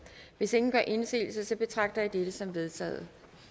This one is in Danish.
hvis ingen gør indsigelse betragter jeg dette som vedtaget